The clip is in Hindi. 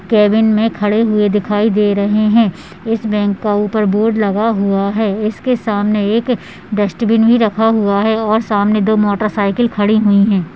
कैबिन में खड़े हुए दिखाई दे रहे हैं इस बैंक का ऊपर बोर्ड लगा हुआ है इसके सामने एक डस्टबिन भी रखा हुआ है और सामने दो मोटरसाइकिल खड़ी हुई हैं।